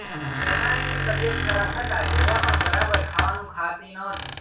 શેઠાણીની તબીયત ખરાબ થતા જયા પણ બરાબર ખાવાનું ખાતી નહોતી